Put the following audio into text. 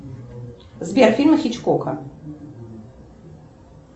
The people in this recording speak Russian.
сбер фильмы хичкока